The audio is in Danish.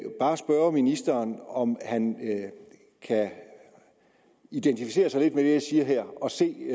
bare spørge ministeren om han kan identificere sig lidt med det jeg siger her og se